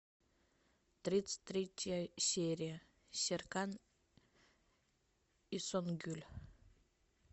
тридцать третья серия серкан и сонгюль